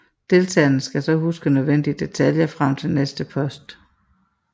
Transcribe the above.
Deltagerne skal så huske nødvendige detaljer frem til næste post